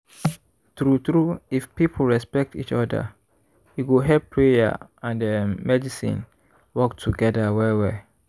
true true if people respect each oda e go help prayer and errm medicine work togeda well well.